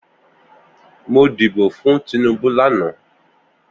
Mó dibó fún Tinubu làná